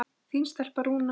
Þín stelpa, Rúna.